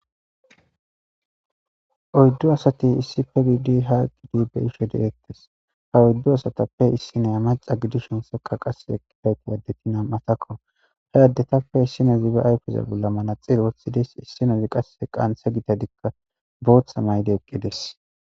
Oyddu asati issippe giididi ha beishshe dettes ha oyddu assayape issiniya macca gididhin seekay qasse addeti namattako he addetape issinazi be ayfe bolla manaxire woththides issinozi qasseka qaanthe giitazika booththa mayidi eqqidesi .